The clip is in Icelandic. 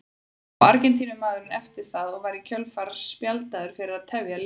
Lá Argentínumaðurinn eftir það og var í kjölfarið spjaldaður fyrir að tefja leikinn.